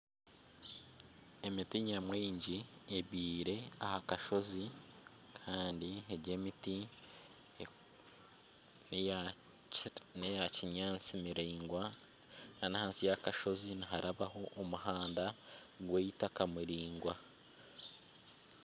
Emiti nyamwingi ebyiire aha kasozi kandi ego emiti neya kinyaatsi miraingwa nana ahansi y'akashozi niharabaho omuhanda gweitaka muraingwa.